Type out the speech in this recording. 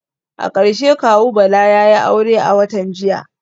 A karshe kawu Bala yayi aure a watan jiya